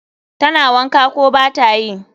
Tana wanka, ko batayi?